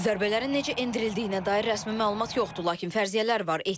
Zərbələrin necə endirildiyinə dair rəsmi məlumat yoxdur, lakin fərziyyələr var.